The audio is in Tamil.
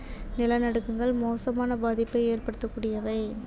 நிலநடுக்கங்கள் மோசமான பாதிப்பை ஏற்படுத்தக்கூடியவை